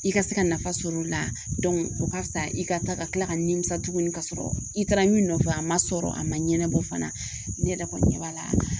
I ka se ka nafa sɔrɔ o la o ka fisa i ka taa ka tila ka nimisa tuguni ka sɔrɔ i taara min nɔfɛ a ma sɔrɔ a ma ɲɛnabɔ fana ne yɛrɛ kɔni ɲɛ b'a la